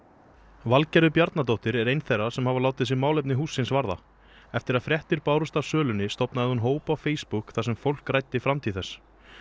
Valgerður Bjarnadóttir er ein þeirra sem hafa látið sig málefni hússins varða eftir að fréttir bárust af sölunni stofnaði hún hóp á Facebook þar sem fólk ræddi framtíð þess